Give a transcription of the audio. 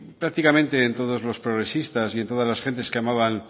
prácticamente en todos los progresistas y en todas las gentes que amaban